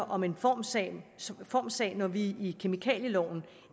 om en formsag formsag når vi i kemikalieloven